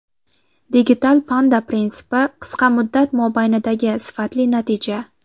Digital Panda prinsipi qisqa muddat mobaynidagi sifatli natija.